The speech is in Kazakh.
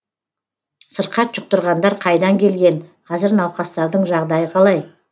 сырқат жұқтырғандар қайдан келген қазір науқастардың жағдайы қалай